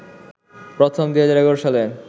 প্রথম ২০১১ সালে